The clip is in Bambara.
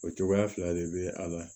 O cogoya fila de bɛ a la